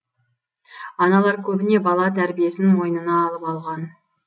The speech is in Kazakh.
аналар көбіне бала тәрбиесін мойнына алып алған